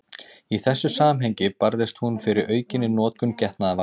Í þessu samhengi barðist hún fyrir aukinni notkun getnaðarvarna.